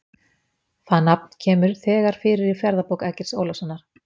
Það nafn kemur þegar fyrir í Ferðabók Eggerts Ólafssonar.